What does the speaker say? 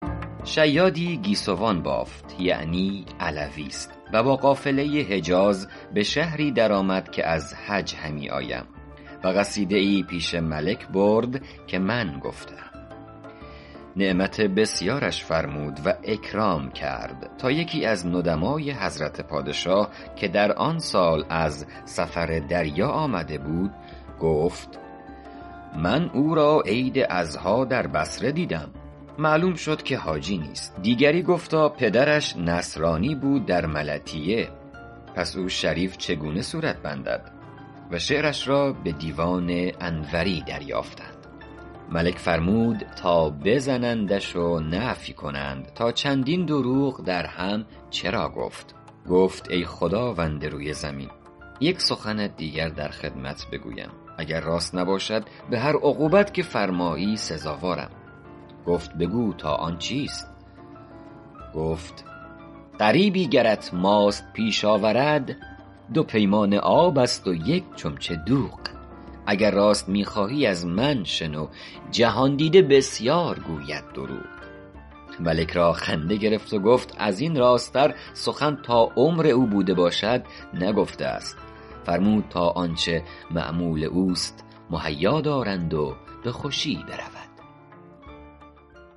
شیادی گیسوان بافت که من علویم و با قافله حجاز به شهری در آمد که از حج همی آیم و قصیده ای پیش ملک برد که من گفته ام نعمت بسیارش فرمود و اکرام کرد تا یکی از ندمای حضرت پادشاه که در آن سال از سفر دریا آمده بود گفت من او را عید اضحیٰ در بصره دیدم معلوم شد که حاجی نیست دیگری گفتا پدرش نصرانی بود در ملطیه پس او شریف چگونه صورت بندد و شعرش را به دیوان انوری دریافتند ملک فرمود تا بزنندش و نفی کنند تا چندین دروغ درهم چرا گفت گفت ای خداوند روی زمین یک سخنت دیگر در خدمت بگویم اگر راست نباشد به هر عقوبت که فرمایی سزاوارم گفت بگو تا آن چیست گفت غریبی گرت ماست پیش آورد دو پیمانه آب است و یک چمچه دوغ اگر راست می خواهی از من شنو جهان دیده بسیار گوید دروغ ملک را خنده گرفت و گفت از این راست تر سخن تا عمر او بوده باشد نگفته است فرمود تا آنچه مأمول اوست مهیا دارند و به خوشی برود